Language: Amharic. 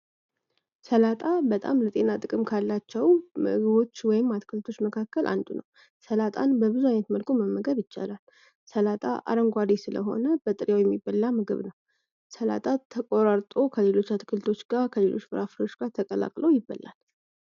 ለጤና ጥቅም ካላቸው ምግቦች መካከል አንዱ ነው በብዛት መመገብ ይቻላል ሰላጣ አረንጓዴ ስለሆነ የሚበላ ምግብ ተቆራርጦ ከሌሎች አትክልቶች ጋር ከሌሎች ጋር ተቀላቅለው ይፈልጋል